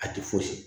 A tɛ fosi